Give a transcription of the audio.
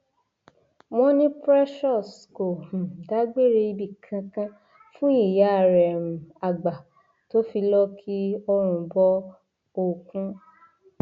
wọn ní precious kò um dágbére ibì kankan fún ìyá rẹ um àgbà tó fi lọọ ki ọrùn bọ òkun